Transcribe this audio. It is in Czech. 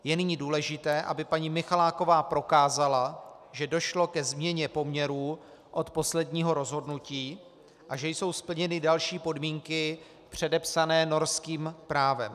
Je nyní důležité, aby paní Michaláková prokázala, že došlo ke změně poměrů od posledního rozhodnutí a že jsou splněny další podmínky předepsané norským právem.